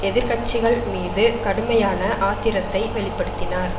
எதிர் கட்சிகள் மீது கடுமையான ஆத்திரத்தை வெளி படுத்தினார்